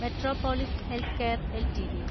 metropolis Healthcare LTD